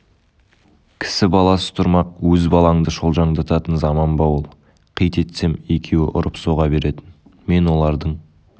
кісі баласы тұрмақ өз балаңды шолжаңдататын заман ба ол қит етсем екеуі ұрып-соға беретін мен олардың